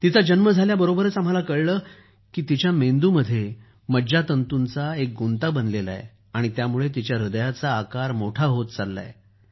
तिचा जन्म झाल्याबरोबरच आम्हाला कळलं की तिच्या मेंदूत एक असा मज्जातंतूंचा गुंता बनला आहे की त्यामुळे तिच्या ह्रदयाचा आकार मोठा होत आहे